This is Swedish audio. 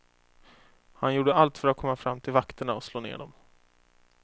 Han gjorde allt för att komma fram till vakterna och slå ner dem.